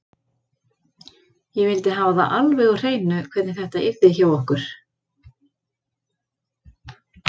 Ég vildi hafa það alveg á hreinu hvernig þetta yrði hjá okkur.